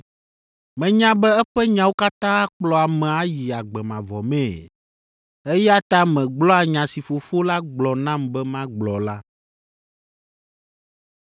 Menya be eƒe nyawo katã akplɔ ame ayi agbe mavɔ mee. Eya ta megblɔa nya si Fofo la gblɔ nam be magblɔ la.”